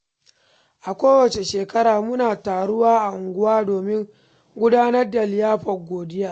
A kowace shekara, muna taruwa a unguwa domin gudanar da liyafar godiya.